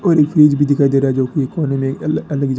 और एक फ्रिज भी दिखाई दे रहा है जो की कोने में अल अलग जग--